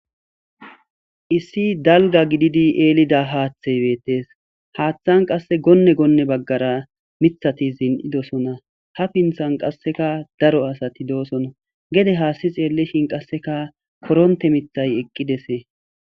issi dalga gididi eelida haaththey beettes haaththan qasse gonne goonne baggara mithati zin7idosona ha pinthan qasseka daro asati doosono gede haasti xeelleshin qasseka koronte mithay eqqidese